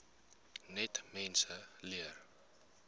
net mense leer